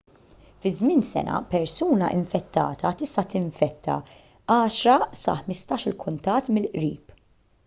fi żmien sena persuna infettata tista' tinfetta 10 sa 15-il kuntatt mill-qrib